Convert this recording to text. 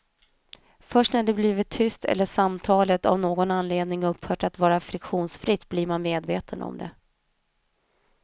Först när det blivit tyst eller samtalet av någon anledning upphört att vara friktionsfritt blir man medveten om det.